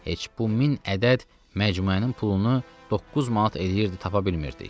Heç bu min ədəd məcmuənin pulunu doqquz manat eləyirdi, tapa bilmirdik.